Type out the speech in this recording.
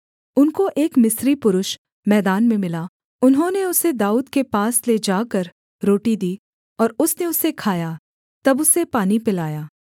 उनको एक मिस्री पुरुष मैदान में मिला उन्होंने उसे दाऊद के पास ले जाकर रोटी दी और उसने उसे खाया तब उसे पानी पिलाया